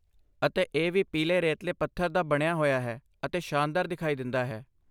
ਅਤੇ ਇਹ ਵੀ ਪੀਲੇ ਰੇਤਲੇ ਪੱਥਰ ਦਾ ਬਣਿਆ ਹੋਇਆ ਹੈ ਅਤੇ ਸ਼ਾਨਦਾਰ ਦਿਖਾਈ ਦਿੰਦਾ ਹੈ